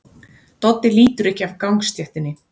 Doddi lítur ekki af gangstéttinni.